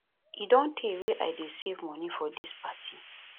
e don tey wey i dey save money for dis party